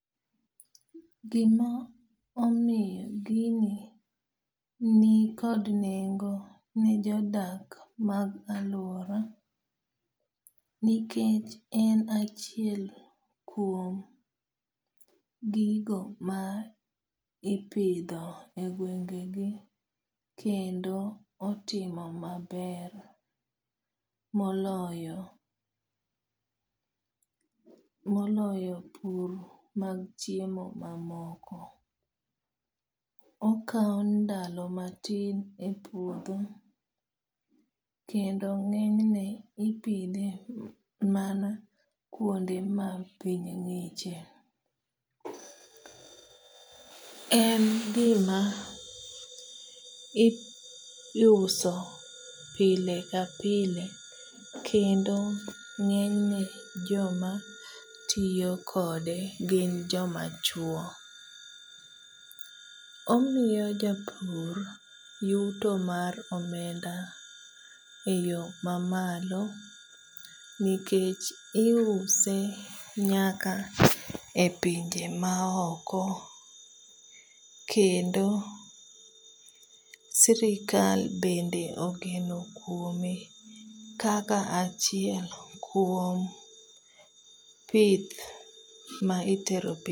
Gima omiyo gini nikod nengo ne jodak mag alwora nikech en achiel kuom gigo ma ipidho e gwengegi kendo otimo maber moloyo pur mag chiemo mamoko. Okawo ndalo matine puodho kendo ng'enyne ipidhe mana kwonde ma piny ng'iche. En gima iuso pile ka pile kendo ng'enyne joma tiyo kode gin jomachuwo. Omiyo japur yuto mar omenda e yo mamalo nikech iuse nyaka e pinje maoko kendo sirikal bende ogeno kwome kaka achiel kuom pith magitero